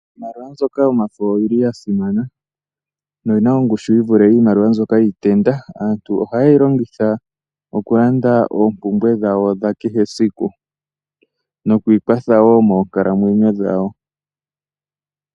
Iimaliwa mbyoka yomafo oya simana noyi na ongushu yi vule mbyoka iikukutu. Aantu ohaye yi longitha okulanda oompumbwe dhawo dha kehesiku noku ikwatha wo moonkalamwenyo dhawo.